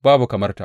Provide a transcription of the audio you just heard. Babu kamar ta.